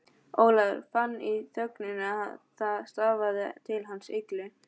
Ólafur fann í þögninni að það stafaði til hans illu.